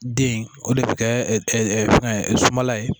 Den in o de bɛ kɛ fɛn sumala ye